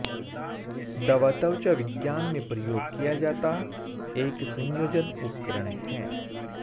दवा त्वचा विज्ञान में प्रयोग किया जाता एक संयोजन उपकरण है